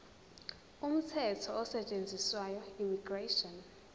umthetho osetshenziswayo immigration